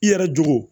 I yɛrɛ jogo